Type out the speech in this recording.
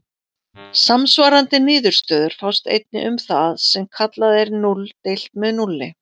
Samsvarandi niðurstöður fást einnig um það sem kallað er núll deilt með núlli.